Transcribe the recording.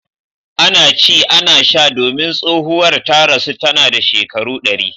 Ana ci ana sha domin tsohuwar ta rasu tana da shekaru ɗari.